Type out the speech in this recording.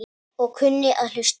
Og kunni að hlusta.